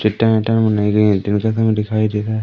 चट्टान ओट्टान बनाई दिखाई दे रहा है--